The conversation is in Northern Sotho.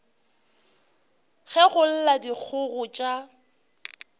ge go lla dikgogo tša